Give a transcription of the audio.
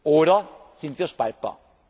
Oder sind wir spaltbar?